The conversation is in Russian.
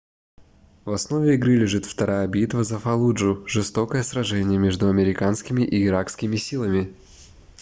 в основе игры лежит вторая битва за фаллуджу жестокое сражение между американскими и иракскими силами